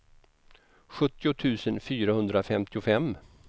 sjuttio tusen fyrahundrafemtiofem